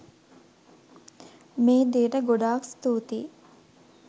මේ දේට ගොඩාක් ස්තුතියි.